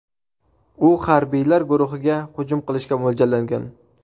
U harbiylar guruhiga hujum qilishga mo‘ljallangan.